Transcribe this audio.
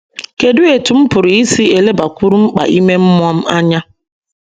Kedu etú m pụrụ isi na - elebakwuru mkpa ime mmụọ m anya?